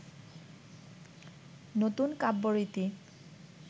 নতুন কাব্যরীতি